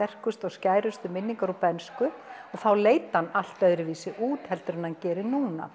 skærustu minningar úr bernsku og þá leit hann allt öðru vísi út heldur en hann gerir núna